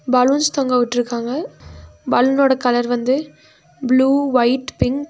Balloons தொங்க உட்ருக்காங்க பலூனோட கலர் வந்து ப்ளூ ஒயிட் பிங்க் .